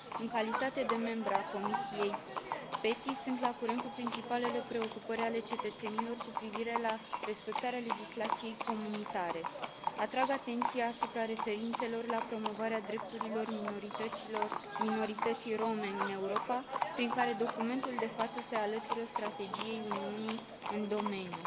În calitate de membră a Comisiei PETI, sunt la curent cu principalele preocupări ale cetățenilor cu privire la respectarea legislației comunitare. Atrag atenția asupra referirilor la promovarea drepturilor minorității rome în Europa, prin care documentul de față se alătură strategiei Uniunii în domeniu.